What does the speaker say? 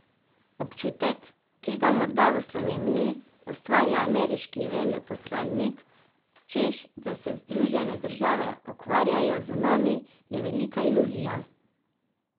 Občutek, ki ga morda v Sloveniji ustvarja ameriški veleposlanik, češ da se Združene države ukvarjajo z nami, je velika iluzija.